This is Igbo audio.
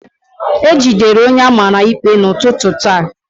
E jidere onye a mara ikpe n'ụtụtụ taa